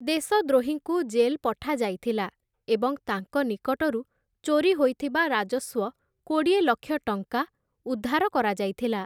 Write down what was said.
ଦେଶଦ୍ରୋହୀଙ୍କୁ jail ପଠାଯାଇଥିଲା ଏବଂ ତାଙ୍କ ନିକଟରୁ ଚୋରି ହୋଇଥିବା ରାଜସ୍ୱ କୋଡ଼ିଏ ଲକ୍ଷ ଟଙ୍କା ଉଦ୍ଧାର କରାଯାଇଥିଲା ।